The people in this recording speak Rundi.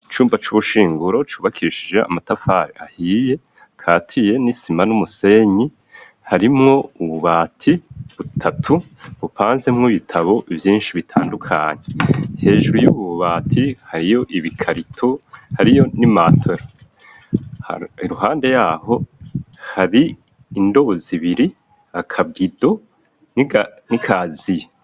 Icumba cubushiguro cubakishijwe amatafari ahiye akasiye n'isima numusenyi, harimwo ububati butatu bumbazemwo ubutabo bwinshi bitadukanye, hejuru yubwo bubati hariyo ibikarito, hariyo n'imatera, iruhande yaho hari indobo zibiri, akabindo n'ikaziye.